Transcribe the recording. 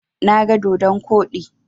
Na ga dodon koɗi.